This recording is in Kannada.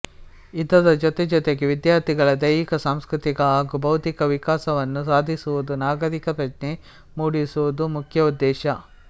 ಇದರ ಜೊತೆಜೊತೆಗೆ ವಿಧ್ಯಾರ್ಥಿಗಳ ದೈಹಿಕ ಸಾಂಸ್ಕೃತಿಕ ಹಾಗೂ ಬೌದ್ಧಿಕ ವಿಕಾಸವನ್ನು ಸಾದಿಸುವುದು ನಾಗರಿಕ ಪ್ರಜ್ಞೆ ಮೂಡಿಸುವುದು ಮುಖ್ಯ ಉದ್ದೇಶ